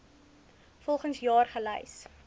volgens jaar gelys